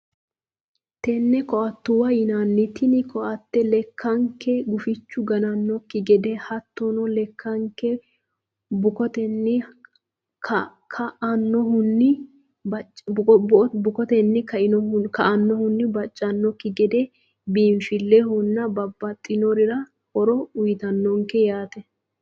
Tenne koattetw yinanni tini koatte lekkanke gufichu ganannonkekki gede hattono lekkanke bukotenni kainohunni baccannokki gede biinfillehono babbaxxinorira horo uyiitannonkete yaate.